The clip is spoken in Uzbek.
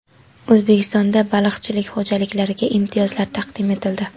O‘zbekistonda baliqchilik xo‘jaliklariga imtiyozlar taqdim etildi.